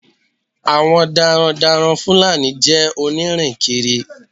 Àwọn darandaran Fúlàní jẹ́ onírìnkiri.